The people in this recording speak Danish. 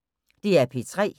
DR P3